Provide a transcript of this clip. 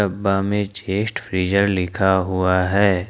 बामे chest freezer लिखा हुआ है।